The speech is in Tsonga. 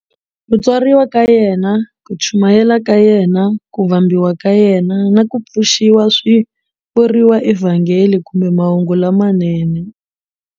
Ku tswariwa ka yena, ku chumayela ka yena, ku vambiwa ka yena, na ku pfuxiwa swivuriwa eVhangeli kumbe "Mahungu lamanene".